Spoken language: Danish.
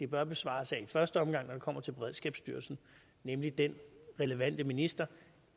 bør besvares af i første omgang når det kommer til beredskabsstyrelsen nemlig den relevante minister